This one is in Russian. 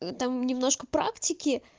там немножко практики